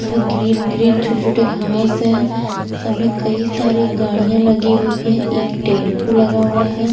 इसमें green green छोटे-छोटे घास है सामने कई सारे गाड़ियां लगी हुई हैं एक टेम्पो लगा हुआ है।